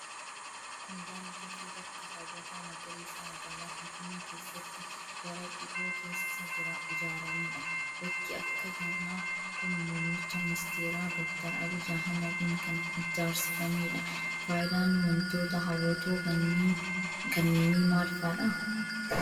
Kun ,daandii fi bakka hawwataa magariisa magaalaa finfinnee keessatti bara dhihoo keessa ijaaramee dha. Bakki akka kana kun, muummicha ministeeraa Doktar Abiyyi Ahimadiin kan ijaarsifameedha. Faayidaan wantoota hawwatoo kanneenii maal faa dha?